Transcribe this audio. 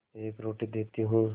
एक रोटी देती हूँ